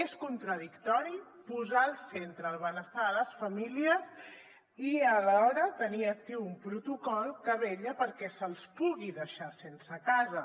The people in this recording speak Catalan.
és contradictori posar al centre el benestar de les famílies i alhora tenir actiu un protocol que vetlla perquè se’ls pugui deixar sense casa